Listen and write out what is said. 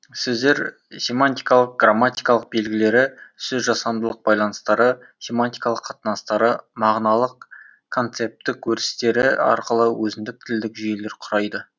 сөздер семантикалық грамматикалық белгілері сөзжасамдылық байланыстары семантикалық қатынастары мағыналық концептік өрістері арқылы өзіндік тілдік жүйелер құрайды